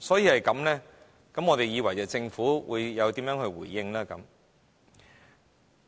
正因如此，我們以為政府會作出實質的回應。